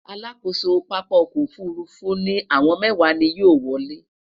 alákóso pápá ọkọ òfurufú ni àwọn mẹwa ni yóò wolè